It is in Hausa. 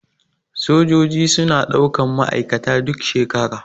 Sojaji suna ɗaukan ma aikata duk shekara.